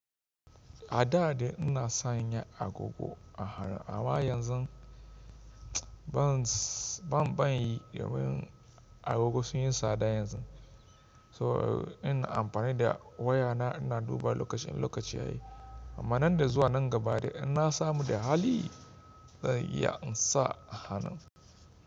A da dai ina sanya agogo a hannu, amma yanzu ban, ban, ban yi domin agogo sun yi tsada yanzu. So ina amfani da wayana ina duba lokaci in lokaci ya yi. Amma nan da zuwa nan gaba dai in na samu da hali zan iya in sa a hanun.